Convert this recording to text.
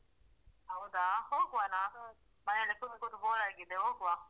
ಹೌದಾ ಹೋಗುವನ ನಾನು ಮನೆಯಲ್ಲಿ ಕುತ್ಕೊಂಡ್ bore ಆಗಿದೆ ಹೋಗುವ.